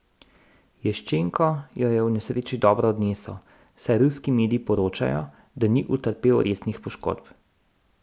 Ješčenko jo je v nesreči dobro odnesel, saj ruski mediji poročajo, da ni utrpel resnih poškodb.